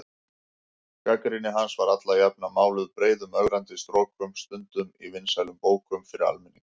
Gagnrýni hans var alla jafna máluð breiðum ögrandi strokum, stundum í vinsælum bókum fyrir almenning.